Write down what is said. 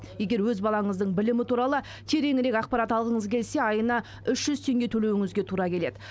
егер өз балаңыздың білімі туралы тереңірек ақпарат алғыңыз келсе айына үш жүз теңге төлеуіңізге тура келеді